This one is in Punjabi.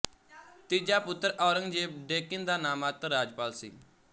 ਤੀਜਾ ਪੁੱਤਰ ਔਰੰਗਜ਼ੇਬ ਡੇੱਕਨ ਦਾ ਨਾਮਾਤਰ ਰਾਜਪਾਲ ਸੀ